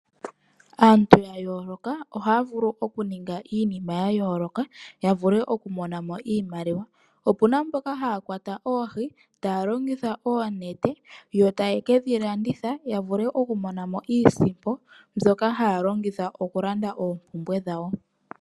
Aantu ya yooloka ohaya vulu okuninga iinima ya yooloka ya vule okumona mo iimaliwa. Opu na mboka haya kwata oohi taa longitha oonete yo taye ke dhi landitha ya vule okumona mo iisimpo mbyoka haya longitha okulanda oompumbwe dhawo.